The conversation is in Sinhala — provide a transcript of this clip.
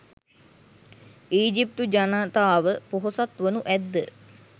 ඊජිප්තු ජනතාව ‍පොහොසත් වනු ඇද්ද?